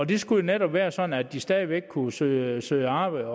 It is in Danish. det skulle jo netop være sådan at de stadig væk kunne søge søge arbejde